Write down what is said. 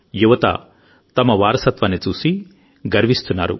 యువత తమ వారసత్వంపై గర్వాన్ని చాటుకున్నారు